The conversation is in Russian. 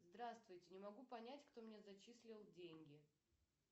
здравствуйте не могу понять кто мне зачислил деньги